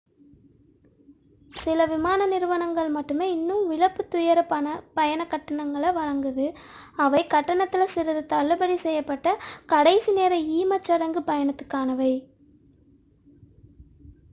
சில விமான நிறுவனங்கள் மட்டுமே இன்னும் இழப்புத் துயர பயணக் கட்டணங்களை வழங்குகின்றன அவை கட்டணத்தில் சிறிது தள்ளுபடி செய்யப்பட்ட கடைசி நேர ஈமச் சடங்கு பயணத்துக்கானவை